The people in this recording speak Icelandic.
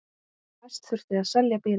Næst þurfti að selja bílinn.